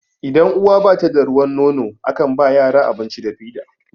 idan uwa bata da ruwan nono a kan ba yara abinci da fida